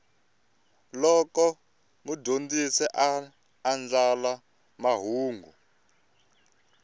loko mudyondzi a andlala mahungu